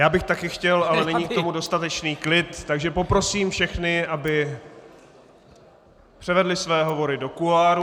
Já bych taky chtěl, ale není k tomu dostatečný klid, takže poprosím všechny, aby převedli své hovory do kuloárů.